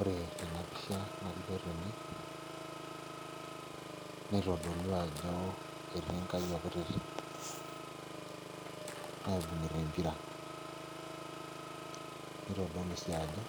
Ore Tena pisha nalioo tene naitodolu ajo etii nkayiok kutitik naibung'ita empira naitodolu sii ajo